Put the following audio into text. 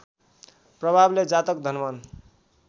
प्रभावले जातक धनवान्